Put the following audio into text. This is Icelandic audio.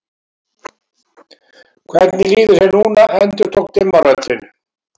Hvernig líður þér núna endurtók dimma röddin.